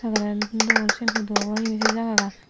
nolen dol siyen hudu obow hijeni sei jagagan.